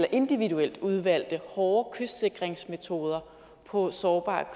og individuelt udvalgte hårde kystsikringsmetoder på sårbare